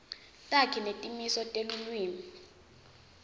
takhi netimiso telulwimi